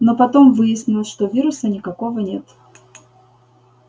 но потом выяснилось что вируса никакого нет